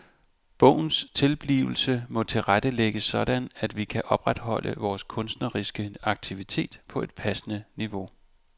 Bogens tilblivelse må tilrettelægges sådan at vi kan opretholde vores kunstneriske aktivitet på et passende niveau.